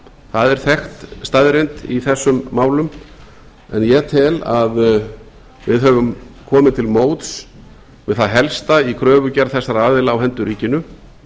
það er þekkt staðreynd í þessum málum en ég tel að við höfum komið til móts við það helsta í kröfugerð þessara aðila á hendur ríkinu